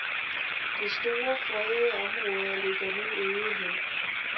Det store, fredede område ligger nu øde hen.